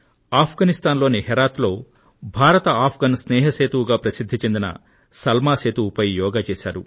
అఫ్గానిస్తాన్ లోని హెరాత్ లో భారత్ అఫ్గాన్ స్నేహ సేతువుగా ప్రసిద్ధి చెందిన సల్మా సేతువు పై యోగా చేశారు